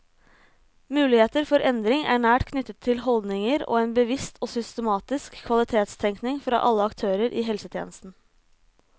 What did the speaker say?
Muligheter for endring er nært knyttet til holdninger og en bevisst og systematisk kvalitetstenkning fra alle aktørene i helsetjenesten.